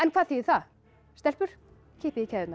hvað þýðir það stelpur kippið í keðjurnar